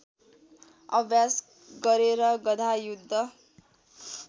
अभ्यास गरेर गधायुद्ध